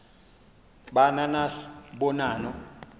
ba nanas bonanno